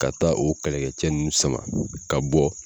Ka taa o kɛlɛkɛcɛ ninnu sama ka bɔ.